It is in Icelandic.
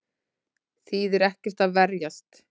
Þýðir ekki að verjast